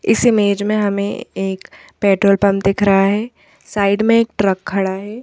इस इमेज में हमें एक पेट्रोल पंप दिख रहा है साइड में एक ट्रक खड़ा है।